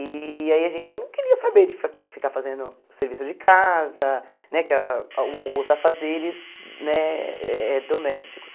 E aí a gente não queria saber de fa ficar fazendo serviço de casa, né que a os afazeres né eh domésticos.